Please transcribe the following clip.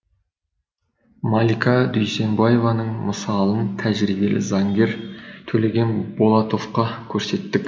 малика дүйсенбаеваның мысалын тәжірибелі заңгер төлеген болтановқа көрсеттік